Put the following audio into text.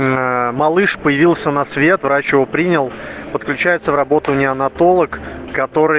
аа малыш появился на свет врач его принял подключается в работу неонатолог который